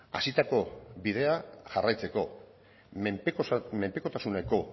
hasitako bidea jarraitzeko menpekotasuneko